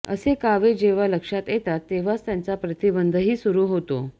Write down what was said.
असे कावे जेव्हा लक्षात येतात तेव्हाच त्याचा प्रतिबंधही सुरू होतो